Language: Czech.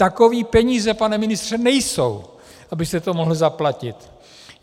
Takové peníze, pane ministře, nejsou, abyste to mohl zaplatit.